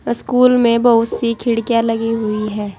School में बहुत सी खिड़कियां लगी हुई है।